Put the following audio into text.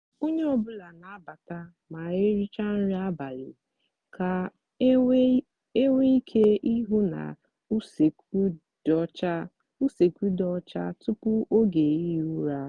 onye ọ bụla n'abata ma ericha nri abalị ka enwe ike ihu na usekwu dị ọcha usekwu dị ọcha tupu oge ihi ụra.